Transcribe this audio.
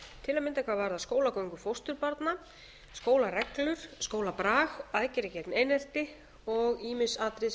til að mynda hvað varðar skólagöngu fósturbarna skólareglur skólabrag aðgerðir gegn einelti og ýmis atriði sem snúa að